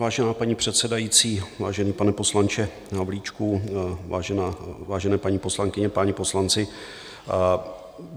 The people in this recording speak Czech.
Vážená paní předsedající, vážený pane poslanče Havlíčku, vážené paní poslankyně, páni poslanci.